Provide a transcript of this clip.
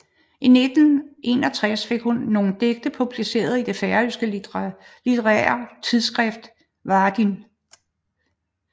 I 1961 fik hun nogle digte publiceret i det færøske litterære tidsskrift Varðin